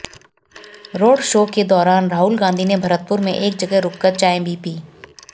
road show के दौरान राहुल गांधी ने भरतपुर में एक जगह रुककर चाय भी पी